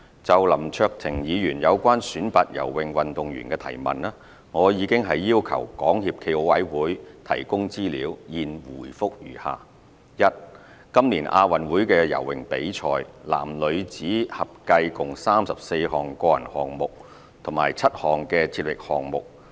就林卓廷議員有關選拔游泳運動員的質詢，我已要求港協暨奧委會提供資料，現回覆如下：一今年亞運會的游泳比賽，男女子合計共有34項個人項目和7項接力項目。